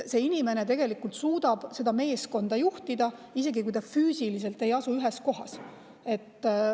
See inimene tegelikult suudab seda meeskonda juhtida, isegi kui nad füüsiliselt ei asu ühes kohas.